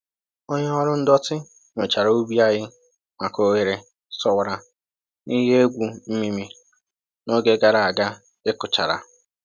Onye ọrụ ndọtị nyochara ubi anyị maka oghere sowara na ihe egwu mmịmị n’oge gara aga ịkụchara